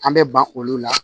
An bɛ ban olu la